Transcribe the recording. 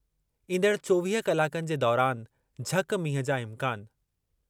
ईंदड़ चोवीह कलाकनि जे दौरान झक-मींहुं जा इम्कान।